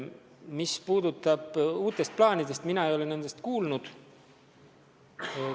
Mis puudutab uusi plaane, siis mina ei ole nendest kuulnud.